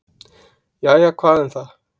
"""Jæja, hvað um það."""